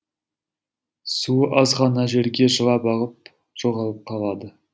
суы аз ғана жерге жылап ағып жоғалып қалады